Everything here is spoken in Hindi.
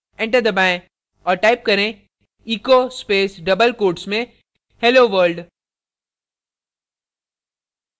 enter दबाएं और type करें echo echo space double quotes में hello world